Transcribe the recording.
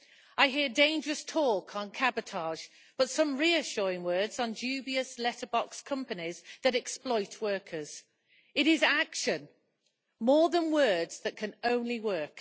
I hear dangerous talk on cabotage, but some reassuring words on dubious letterbox companies that exploit workers. It is action, more than words, that can only work.